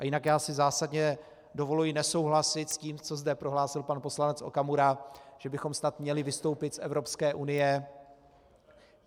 A jinak, já si zásadně dovoluji nesouhlasit s tím, co zde prohlásil pan poslanec Okamura, že bychom snad měli vystoupit z Evropské unie.